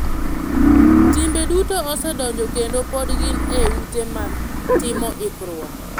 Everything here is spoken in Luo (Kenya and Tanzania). Timbe duto osedonjo kendo pod gin e ute mag timo ikruok.